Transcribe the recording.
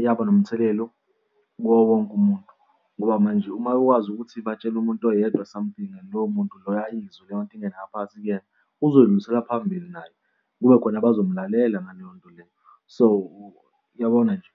iyaba nomthelelo kuwo wonke umuntu. Ngoba manje uma ikwazi ukuthi batshele umuntu oyedwa something and lowo muntu loyo izwe leyo nto ingene ngaphakathi kuyena, uzoyihlulisela phambili naye kube khona abazomlalela ngaleyo nto leyo. So, uyabona nje?